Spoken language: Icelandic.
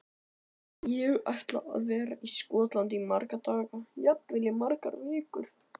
Ég ætla að vera í Skotlandi í marga daga, jafnvel í margar vikur.